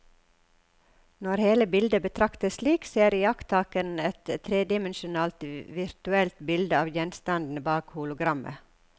Når hele bildet betraktes slik, ser iakttakeren et tredimensjonalt virtuelt bilde av gjenstanden bak hologrammet.